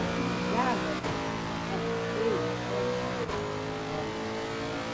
O que ligava essa população, a seiva, o ethos dela, eram eram